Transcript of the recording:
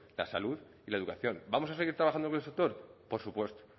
la salud y la educación vamos a seguir trabajando con el sector por supuesto